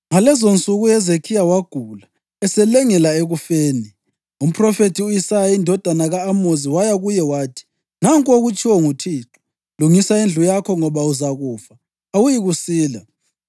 Ngalezonsuku uHezekhiya wagula, eselengela ekufeni. Umphrofethi u-Isaya indodana ka-Amozi waya kuye wathi: “Nanku okutshiwo nguThixo: Lungisa indlu yakho, ngoba uzakufa; awuyikusila.”